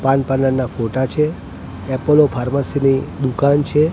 પાન parlour ના ફોટા છે એપોલો ફાર્મસી ની દુકાન છે.